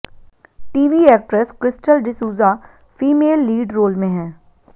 TV actress Crystal D'Souza female lead role में हैं